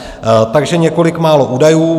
Takže několik málo údajů.